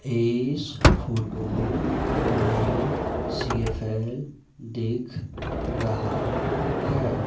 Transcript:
इस फोटो में सी_एफ_एल दिख रहा है।